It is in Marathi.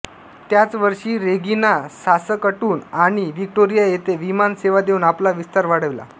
त्याच वर्षी रेगिना सासकटून आणि व्हिक्टोरिया येथे विमान सेवा देऊन आपला विस्तार वाढविला